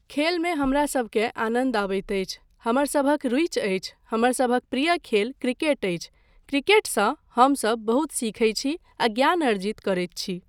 खेलमे हमरासभकेँ आनन्द अबैत अछि, हमरसभक रुचि अछि, हमरसभक प्रिय खेल क्रिकेट अछि, क्रिकेटसंँ हमसभ बहुत सीखय छी आ ज्ञान अर्जित करैत छी।